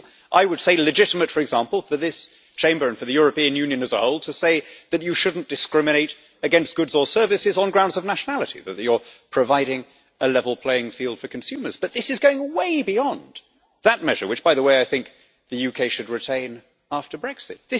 It is, I would say, legitimate, for example, for this Chamber and for the European Union as a whole to say that you shouldn't discriminate against goods or services on grounds of nationality, that you are providing a level playing field for consumers, but this is going way beyond that measure which, by the way, I think the UK should retain after Brexit.